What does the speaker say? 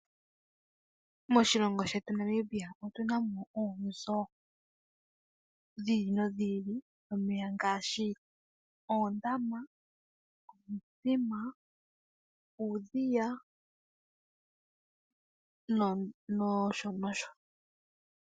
Moshilongo shetu Namibia otuna mo oonzo dhi ili nodhi ili dhomeya, ngaashi oondama, omithima, uudhiya nosho nosho.